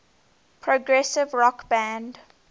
progressive rock band